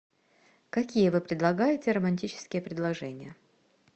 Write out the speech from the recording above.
какие вы предлагаете романтические предложения